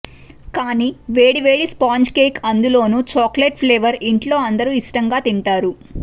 కాని వేడి వేడి స్పాంజ్ కేక్ అందులోనూ చాక్లెట్ ఫ్లేవర్ ఇంట్లో అందరూ ఇష్టంగా తింటారు